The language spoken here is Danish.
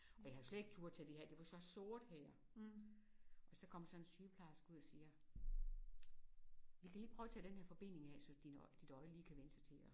Og jeg havde jo slet ikke turde tage det af det var sådan sort her og så kom der sådan en sygeplejerske ud og siger vil De ikke prøve at tage den her forbinding af så din så dit øje lige kan prøve at vænne sig til at